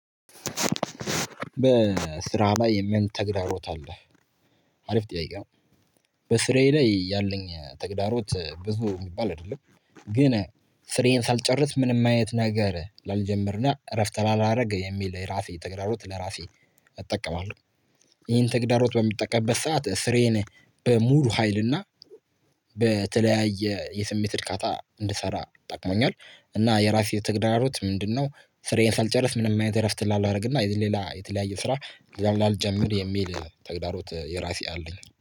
በስራ ላይ የምን ተግዳሮት አለህ? አሪፍ ጥያቄ ነው በስራዬ ላይ ያለኝ ተግዳሮት ብዙ የሚባል አይደለም። ግን ስራዬን ሳልጨርስ ምንም አይነት ነገር ላልጀምርና እረፍት ላላረግ የሚል የራሴ ተግዳሮት ለራሴ። እጠቀማለሁ ይህን ተግዳሮት በምጠቀምበት ሰዓት ስራዬን በሙሉ ሀይልና በተለያየ የስሜት እርካታ እንድሰራ ጠቅሞኛል። እና የራሴ ትግራሮት ምንድነው? ስራዬን ሳልጨርስ ምንም አይነት እረፍት ላለረግ እና ሌላ የተለያየ ስራ ላልጀምር የሚል ተግዳሮት የራሴ አለኝ